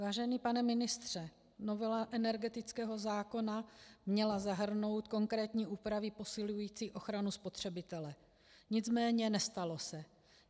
Vážený pane ministře, novela energetického zákona měla zahrnout konkrétní úpravy posilující ochranu spotřebitele, nicméně nestalo se.